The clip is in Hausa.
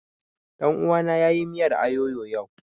Ɗan uwana ya yi miyar ayoyo yau